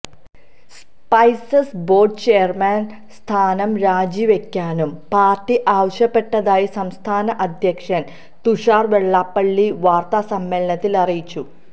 spices board chairman സ്ഥാനം രാജിവെ ക്കാനും പാർട്ടി ആവശ്യപ്പെട്ടതായി സംസ്ഥാന അധ്യക്ഷൻ തുഷാർ വെള്ളാപ്പള്ളി വാർത്താ സമ്മേളനത്തിൽ അറിയിച്ചു